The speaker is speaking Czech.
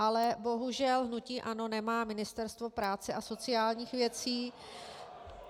Ale bohužel hnutí ANO nemá Ministerstvo práce a sociálních věcí.